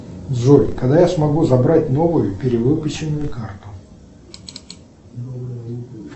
джой когда я смогу забрать новую перевыпущенную карту